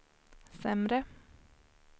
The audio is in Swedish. sämre